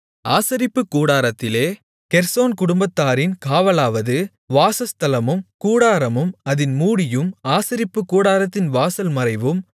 ஆசரிப்புக் கூடாரத்திலே கெர்சோன் குடும்பத்தாரின் காவலாவது வாசஸ்தலமும் கூடாரமும் அதின் மூடியும் ஆசரிப்புக்கூடாரத்தின் வாசல் மறைவும்